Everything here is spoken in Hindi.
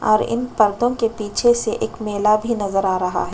और इन पर्दो के पीछे से एक मेला भी नजर आ रहा है।